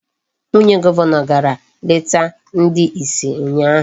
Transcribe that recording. Nwunye Gọvanọ gara leta ndị isi ụnyaahụ.